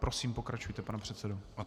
Prosím, pokračujte, pane předsedo.